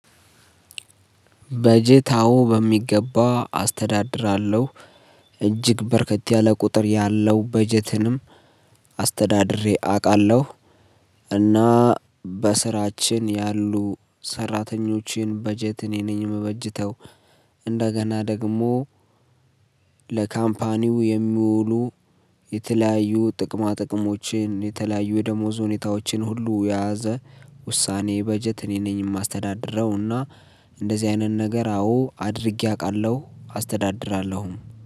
በጀት አዎ በሚገባ አስተዳድራለሁ። እጅግ በርከት ያለ ቁጥር ያለው በጀትንም አስተዳድሬ አውቃለሁ። እና በስራችን ያሉ ሰራተኞችን በጀት እኔ ነኝ የምበጅተው እንደገና ደግሞ። ለካምፓኒው የሚውሉ የተለያዩ ጥቅማ ጥቅሞችን የተለያዩ የደሞዝ ሁኔታዎችን ሁሉ የያዘ ውሳኔ በጀት እኔ ነኝ የማስተዳድረው። እና እንደዚህ አይነት ነገር አዎ አድርጌ አውቃለሁ አስተዳድራለሁም